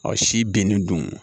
Ɔ si binni dun